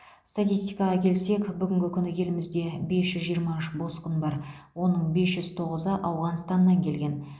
статистикаға келсек бүгінгі күні елімізде бес жүз жиырма үш босқын бар оның бес жүз тоғызы ауғанстаннан келген